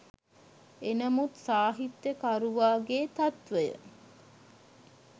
එනමුත් සාහිත්‍යකරුවාගේ තත්වය